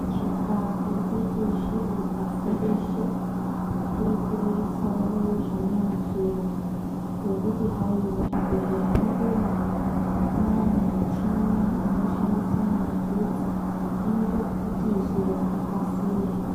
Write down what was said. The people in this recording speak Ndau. Kuchinja kuri kuita zviro pasi reshe kuri kurerusawo zvimweni zviro ngokuti hai muzvibhedhlera mwedu umwo mwune muchini unoshandise magetsi inoita kuti zviro zvikasire .